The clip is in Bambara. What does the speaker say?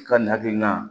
I ka nin hakilina